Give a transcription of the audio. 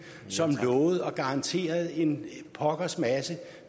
som lovede og garanterede en pokkers masse